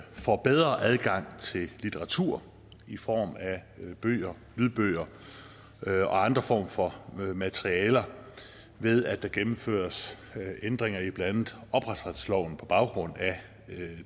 får bedre adgang til litteratur i form af lydbøger lydbøger og andre former for materialer ved at der gennemføres ændringer i blandt ophavsretsloven på baggrund af